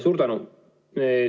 Suur tänu!